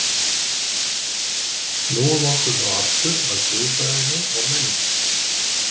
Snúum okkur þá aftur að guðfræðinni og menningunni.